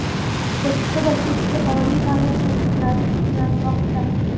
Sirtqi va kechki oliy ta’lim shakllari tiklanmoqda.